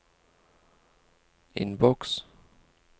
innboks